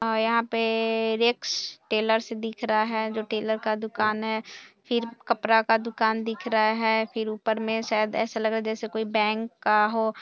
यहां पर Rex Tailors दिख रहा है जो टेलर का दुकान है फिर कपड़ा का दुकान दिख रहा है फिर ऊपर में शायद ऐसा लग रहा है जैसे कोई बैंक का हो।